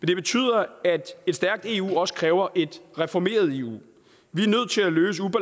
det betyder at et stærkt eu også kræver et reformeret eu vi